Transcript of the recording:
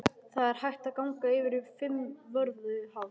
Það er hægt að ganga yfir Fimmvörðuháls.